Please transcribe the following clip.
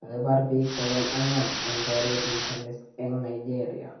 kakipar pik bogol angwan eng poryet nesamis eng Nigeria